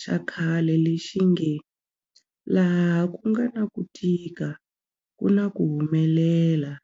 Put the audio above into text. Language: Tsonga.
xa khale lexi nge 'laha ku nga na ku tika ku na ku humelela'.